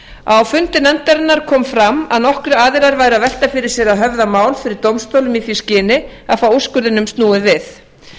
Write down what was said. á fundi nefndarinnar kom fram að nokkrir aðilar væru að velta fyrir sér að höfða mál fyrir dómstólum í því skyni að fá úrskurðinum snúið við